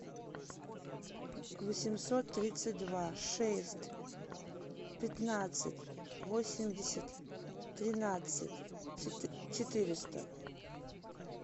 восемьсот тридцать два шесть пятнадцать восемьдесят тринадцать четыреста